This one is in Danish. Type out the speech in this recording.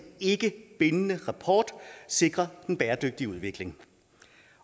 ikkebindende rapport sikre den bæredygtige udvikling